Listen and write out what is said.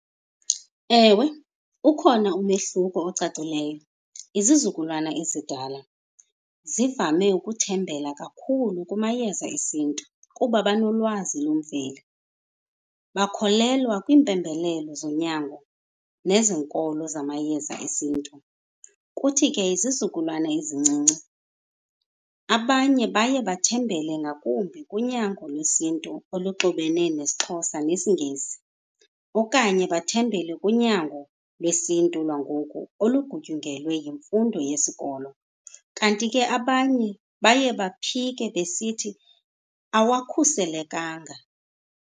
Ewe, ukhona umehluko ocacileyo. Izizukulwana ezidala zivame ukuthembela kakhulu kumayeza esiNtu kuba banolwazi lwemveli, bakholelwa kwiimpembelelo zonyango nezenkolo zamayeza esiNtu. Kuthi ke izizukulwana ezincinci, abanye baye bathembele ngakumbi kunyango lwesiNtu oluxubene nesiXhosa nesiNgesi okanye bathembele kunyango lwesiNtu lwangoku olugutyungelwe yimfundo yesikolo. Kanti ke abanye baye baphike besithi awakhuselekanga.